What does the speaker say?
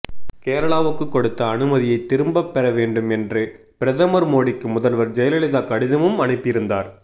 கேரளாவுக்கு கொடுத்த அனுமதியைத் திரும்பப் பெற வேண்டும் என்று பிரதமர் மோடிக்கு முதல்வர் ஜெயலலிதா கடிதமும் அனுப்பியிருந்தார்